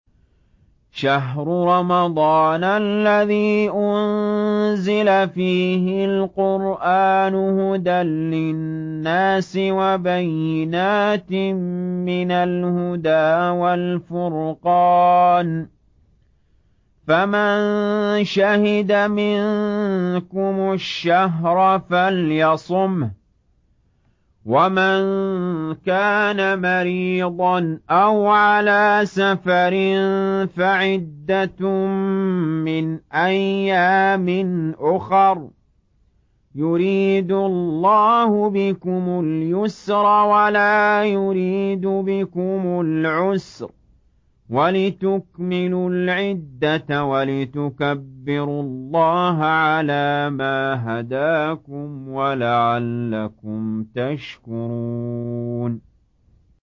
شَهْرُ رَمَضَانَ الَّذِي أُنزِلَ فِيهِ الْقُرْآنُ هُدًى لِّلنَّاسِ وَبَيِّنَاتٍ مِّنَ الْهُدَىٰ وَالْفُرْقَانِ ۚ فَمَن شَهِدَ مِنكُمُ الشَّهْرَ فَلْيَصُمْهُ ۖ وَمَن كَانَ مَرِيضًا أَوْ عَلَىٰ سَفَرٍ فَعِدَّةٌ مِّنْ أَيَّامٍ أُخَرَ ۗ يُرِيدُ اللَّهُ بِكُمُ الْيُسْرَ وَلَا يُرِيدُ بِكُمُ الْعُسْرَ وَلِتُكْمِلُوا الْعِدَّةَ وَلِتُكَبِّرُوا اللَّهَ عَلَىٰ مَا هَدَاكُمْ وَلَعَلَّكُمْ تَشْكُرُونَ